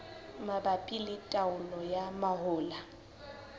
mabapi le taolo ya mahola